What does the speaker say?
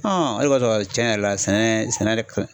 o de b'a to tiɲɛ yɛrɛ la , sɛnɛ sɛnɛ